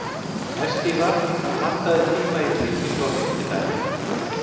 Estiva, pantaðu tíma í klippingu á fimmtudaginn.